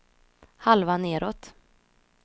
halva nedåt